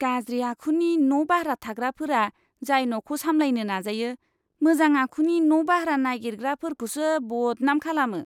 गाज्रि आखुनि न' बाह्रा थाग्राफोरा जाय न'खौ सामलायनो नाजायो, मोजां आखुनि न' बाह्रा नागिरग्राफोरखौसो बदनाम खालामो!